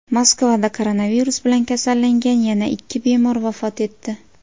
Moskvada koronavirus bilan kasallangan yana ikki bemor vafot etdi.